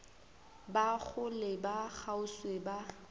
ba kgole le kgauswi ba